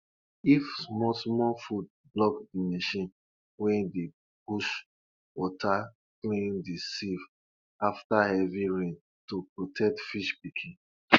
if small small food block the machine wey dey push water clean the sieve after heavy rain to protect fish pikin